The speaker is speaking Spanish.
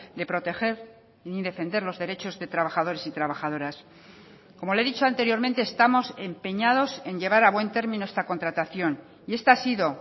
de proteger ni defender los derechos de trabajadores y trabajadoras como le he dicho anteriormente estamos empeñados en llevar a buen término esta contratación y esta ha sido